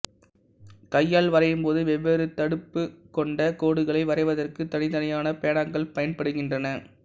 கையால் வரையும்போது வெவ்வேறு தடிப்புக் கொண்ட கோடுகளை வரைவதற்குத் தனித்தனியான பேனாக்கள் பயன்படுகின்றன